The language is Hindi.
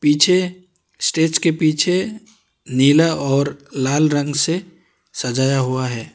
पीछे स्टेज के पीछे नीला और लाल रंग से सजाया हुआ है।